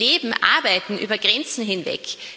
Wir leben, arbeiten über Grenzen hinweg